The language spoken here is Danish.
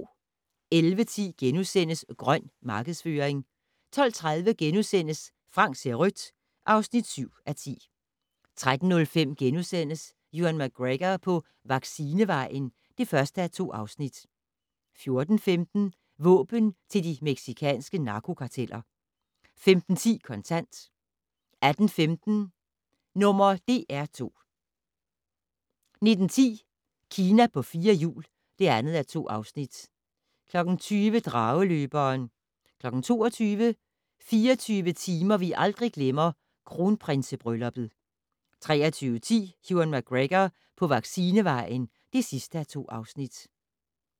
11:10: "Grøn" markedsføring * 12:30: Frank ser rødt (7:10)* 13:05: Ewan McGregor på vaccinevejen (1:2)* 14:15: Våben til de mexicanske narkokarteller 15:10: Kontant 18:15: #DR2 19:10: Kina på fire hjul (2:2) 20:00: Drageløberen 22:00: 24 timer vi aldrig glemmer - Kronprinsebrylluppet 23:10: Ewan McGregor på vaccinevejen (2:2)